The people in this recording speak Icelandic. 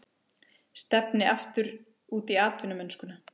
Stefni aftur út í atvinnumennskuna